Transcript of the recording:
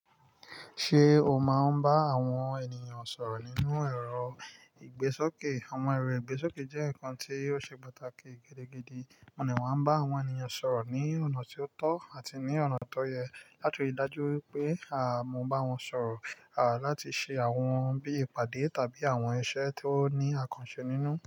Ṣé o máa ń bá àwọn ènìyàn sọ̀rọ̀ nínú ẹ̀rọ ìgbésókè? Àwọn ẹ̀rọ ìgbésókè jẹ́ ǹkan tí ó ṣe pàtàkì gidi gidi, mo ní mo máa ń bá àwọn ènìyàn sọ̀rọ̀ ní ọ̀nà tí ó tọ́ àti ní ọ̀nà tó yẹ láti rí i dájú wípé mó bá wọn sọ̀rọ̀, láti ṣe àwọn bí ìpàdé tàbí àwọn iṣẹ́ tí ó ní àkànṣe nínú.